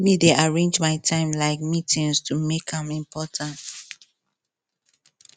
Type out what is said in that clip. me dey arrange my time like meetings to make am important